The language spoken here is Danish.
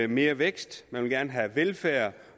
mere vækst at man gerne vil have velfærd